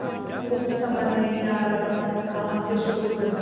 कुछ समझ नहीं आ रहा था कहाँ से शुरू करूँ